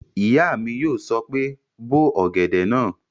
Ìyá mi yóò sọ pé "bó ọ̀gẹ̀dẹ̀ náà!"